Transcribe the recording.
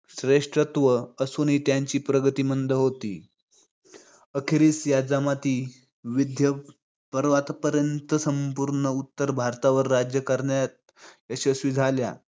श्रेष्ठत्व असुनही त्यांची प्रगती मंद होती. अखेरीस या जमाती विंध्य पर्वतापर्यंत संपूर्ण उत्तर भारतावर राज्य करण्यात यशस्वी झाल्या